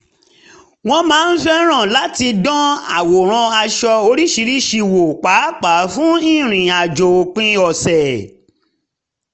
wọ́n máa ń fẹ́ràn láti dán àwòrán aṣọ oríṣiríṣi wò pàápàá fún ìrìn àjò òpin ọ̀sẹ̀